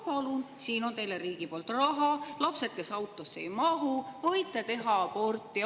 Palun, siin on teile riigi poolt raha, kui lapsed autosse ära ei mahu, võite teha aborti.